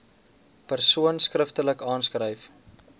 persoon skriftelik aanskryf